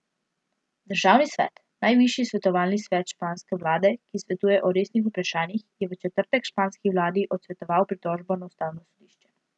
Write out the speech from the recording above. Državni svet, najvišji svetovalni svet španske vlade, ki svetuje o resnih vprašanjih, je v četrtek španski vladi odsvetoval pritožbo na ustavno sodišče.